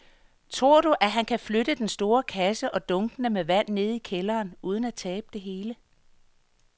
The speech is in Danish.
Tror du, at han kan flytte den store kasse og dunkene med vand ned i kælderen uden at tabe det hele?